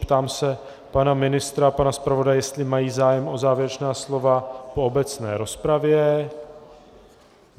Ptám se pana ministra a pana zpravodaje, jestli mají zájem o závěrečná slova po obecné rozpravě.